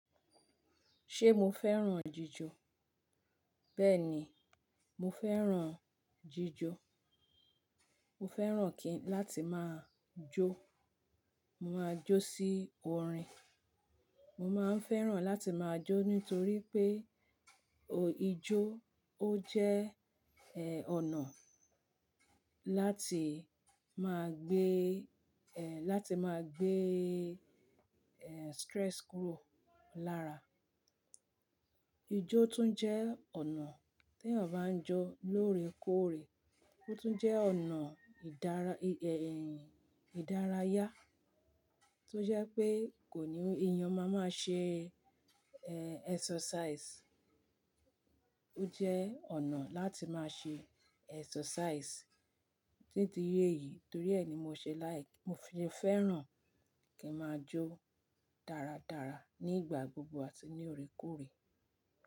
Ṣé mo fẹ́ràn jíjò? Bẹ́ẹ̀ni, mo fẹ́ràn jíjò. Mo fẹ́ràn kí láti máa jó. Mo máa jó sí orin. Mo máa ń fẹ́ràn láti máa jó nítorí pé, ò-- ijó ó jẹ́, eh, ọ̀nà láti máa gbé, eh, láti máa gbé, eh, stress kúrò lára. Ijó tún jẹ́ ọ̀nà tí ènìyàn bá ń jó lóore kóòrè. Ó tún jẹ́ ọ̀nà ìdára, eh, ìdárayá tó jẹ́ pé kò ní, ènìyàn máa máa ṣe, eh, exercise. Ó jẹ́ ọ̀nà láti máa ṣe exercise títí yé yìí. Torí ẹ ni mo ṣe láì-- mo fi-- fẹ́ràn kí n máa jó dáradára nígbà gbogbo àti ní óòrè kóòrè.